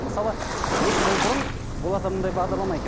мысалы екі жыл бұрын оларда мынандай бағдарлама екен